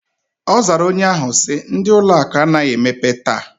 Ozara onye ahu si: Ndi ụlọ akụ anaghi emepe taa.